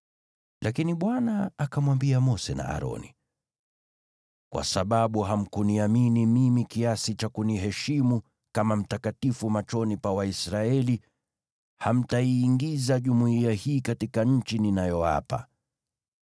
Lakini Bwana akamwambia Mose na Aroni, “Kwa sababu hamkuniamini mimi kiasi cha kuniheshimu kama mtakatifu machoni pa Waisraeli, hamtaiingiza jumuiya hii katika nchi ninayowapa.”